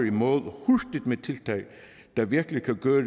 i mål med tiltag der virkelig kan gøre